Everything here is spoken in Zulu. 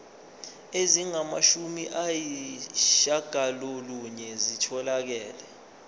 ezingamashumi ayishiyagalolunye zitholakele